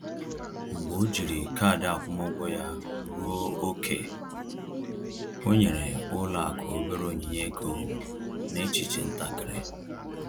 Mgbe o jiri kaadị akwụmụgwọ ya ruo ókè, o nyere ụlọ akụ obere onyinye ego n’echiche ntakịrị